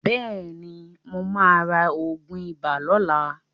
Bẹ́ẹ̀ ni, mó máa ra oògùn ibà lóla.